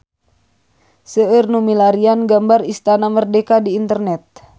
Seueur nu milarian gambar Istana Merdeka di internet